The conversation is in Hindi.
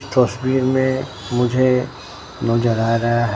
तस्वीर में मुझे नजर आ रहा है।